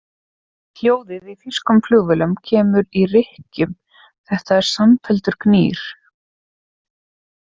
Hljóðið í þýskum flugvélum kemur í rykkjum, þetta er samfelldur gnýr.